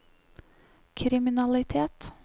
kriminalitet